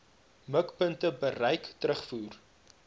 mikpunte bereik terugvoer